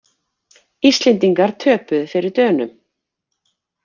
Íslendingar töpuðu fyrir Dönum